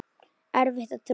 Erfitt að trúa því.